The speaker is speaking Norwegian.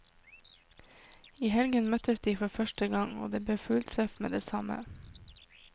I helgen møttes de for første gang, og det ble fulltreff med det samme.